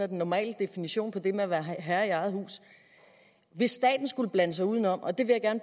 den normale definition på det med at være herre i eget hus hvis staten skulle blande sig udenom og det vil jeg